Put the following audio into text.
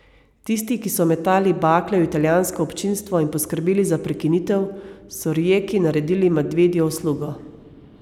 Tisti, ki so metali bakle v italijansko občinstvo in poskrbeli za prekinitev, so Rijeki naredili medvedjo uslugo.